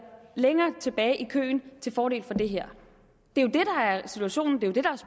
længere tilbage i køen til fordel for det her det